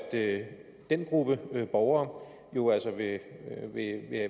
at den gruppe borgere jo altså vil